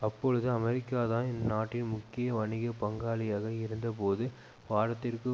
அப்பொழுது அமெரிக்காதான் இந்நாட்டின் முக்கிய வணிக பங்காளியாக இருந்தபோது வாரத்திற்கு